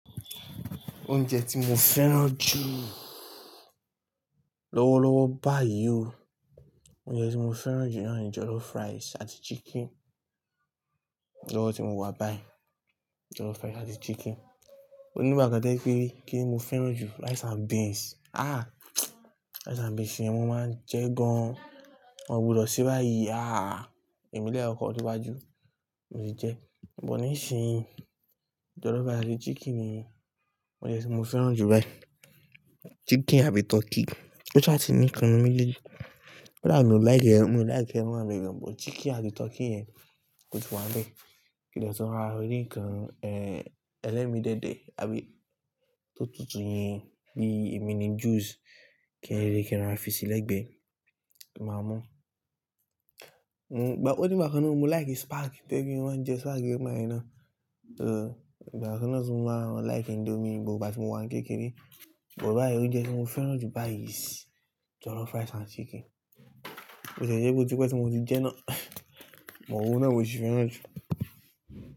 Oúnjẹ tí mo fẹ́ràn jùu, lọ́wọ́lọ́wọ́ báyìí o, oúnjẹ tí mo fẹ́ràn jù ní ọ̀un náà ni jollof rice àti chicken. Lọ́wọ́ tí mo wà báyìí jollof rice àti chicken. Òní gbà kàn tó jé kínní ni mo fẹ́ràn jù rice and beans. Àh! Rice and beans yen mọ máa ń jẹ gan an. Wọn ò gbọdọ̀ se báyìí. Àh! Ẹ̀mí dé kọkọ̀ dé wáju, mo ti jẹ. Ṣùgbọ́n níìsín jollof rice àti chicken ni oúnjẹ tí mo fẹ́ràn jù báyìí. Chicken àbí turkey, kó ṣa ti ní nǹkan nínú méjèèjì, ó dàbí mi ò lìkè, mo lìke ẹran wa bẹ yen, but chicken àti turkey yẹn kò tíì wá bẹ́ẹ̀. Kín dé tun ra rí nǹkan, ẹ́, ẹlẹ́mi déédé àbí tó tutù yín bíí emini juice kí n rí kí rá fi sí lẹ́gbẹ̀ẹ́, ki máa mú. Onígbà kànna mo like spag, to jẹ̀ pe máa ń jẹ spag yen nígbà yẹ náà. Igba kàn na tí mo máa ń like indomie nígbà tí mo wà kékeré, ṣùgbọ́n báyìí oúnjẹ tí mo fẹ́ràn jù báyìí is jollof rice and chicken. Ó tie jẹ pé ó tí pẹ́ tí mo ti jẹ́ náà, oun ná mo ṣì fẹ́ràn jù.